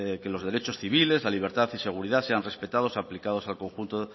que los derechos civiles la libertad y seguridad sean respetados aplicados al conjunto